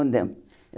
Mudamos.